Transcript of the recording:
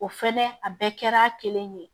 O fɛnɛ a bɛɛ kɛra kelen ye